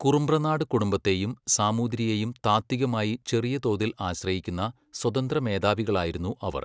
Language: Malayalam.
കുറുമ്പ്രനാട് കുടുംബത്തേയും സാമൂതിരിയേയും താത്വികമായി ചെറിയ തോതിൽ ആശ്രയിക്കുന്ന സ്വതന്ത്രമേധാവികളായിരുന്നു അവർ.